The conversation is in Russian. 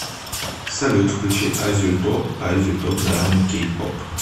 салют включи азию топ азию топ дорамы кей поп